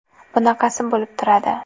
Bunaqasi bo‘lib turadi.